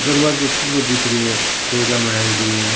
दरवाजो खुलो दिख रो है पेड़या बनाईडी है।